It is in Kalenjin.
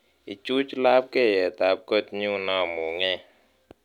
Ichuch labkyetab kotnyu namungee